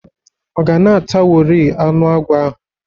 Ọ ga-natawori anụ agwọ ahụ?